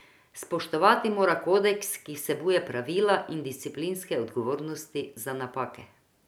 Spoštovati mora kodeks, ki vsebuje pravila in disciplinske odgovornosti za napake.